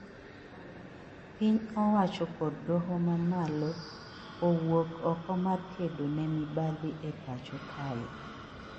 Piny owacho kod doho ma malo owuok oko mar kedo ne mibadhi e pacho kae